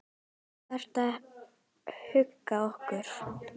Þú verður í huga okkar.